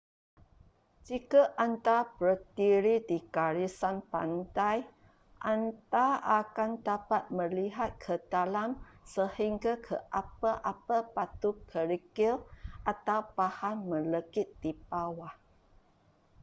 jika anda berdiri di garisan pantai anda akan dapat melihat ke dalam sehingga ke apa-apa batu kerikil atau bahan melekit di bawah